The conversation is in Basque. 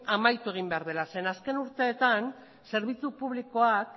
amaitu egin behar dela zeren eta azken urteetan zerbitzu publikoak